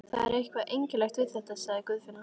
Það er eitthvað einkennilegt við þetta, sagði Guðfinna.